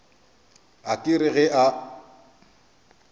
a ka re ge a